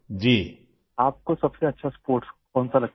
سر آپ کو کون سا کھیل زیادہ پسند ہے؟